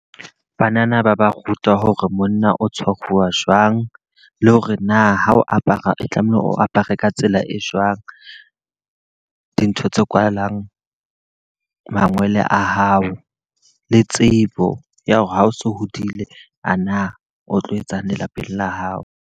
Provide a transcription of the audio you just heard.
Banana ba ba ruta hore monna o tshwaruwa jwang, le hore na ha o apara tlameha o apare ka tsela e jwang. Dintho tse kwalang mangwele a hao, le tsebo ya hore ha o so hodile a na o tlo etsang lelapeng la hao.